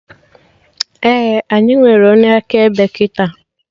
Ee, anyị nwere onye akaebe kịta